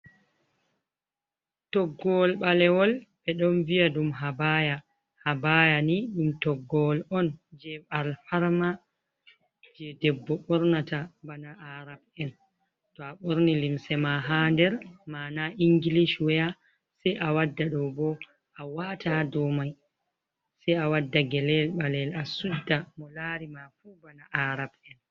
Toggowol ɓalewol ɓe ɗon viya ɗum habaya, habaya ni ɗum toggowol on je alfarma je debbo ɓornata bana arab'en, to a ɓorni limse ma ha nder ma'ana ingilish waya sai a wadda ɗo bo a wata dou mai sai a wadda geleel ɓalel a sudda, mo lari ma fu bana arab'en.